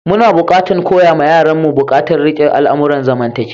Muna buƙatan koya ma yaran mu bukatan rike al'amuran zamantakewa.